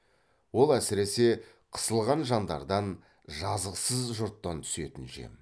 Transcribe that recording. ол әсіресе қысылған жандардан жазықсыз жұрттан түсетін жем